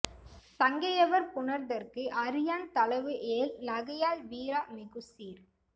சங்கையவர் புணர்தற்கு அறியான் தளவு ஏல் நகையாள் விரா மிகு சீர்